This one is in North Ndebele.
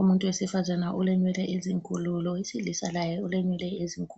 Umuntu wesifazane ulenwele ezinkulu lowesilisa laye ulenwele ezinkulu.